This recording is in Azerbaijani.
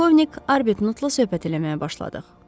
Polkovnik Arbutnotla söhbət eləməyə başladıq.